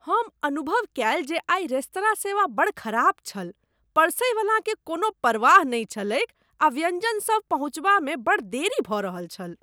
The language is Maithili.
हम अनुभव कएल जे आइ रेस्तराँ सेवा बड़ खराब छल। परसैवलाकेँ कोनो परवाह नहि छलैक आ व्यंजन सब पहुँचाबामे बड़ देरी भ रहल छल।